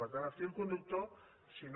per tant el fil conductor si no